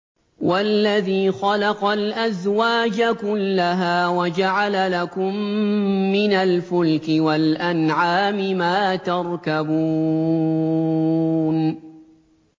وَالَّذِي خَلَقَ الْأَزْوَاجَ كُلَّهَا وَجَعَلَ لَكُم مِّنَ الْفُلْكِ وَالْأَنْعَامِ مَا تَرْكَبُونَ